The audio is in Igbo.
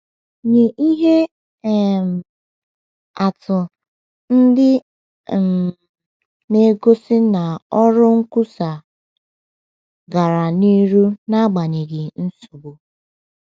Nye ihe um atụ ndị um na - egosi na ọrụ nkwusa gara n’ihu n’agbanyeghị nsogbu.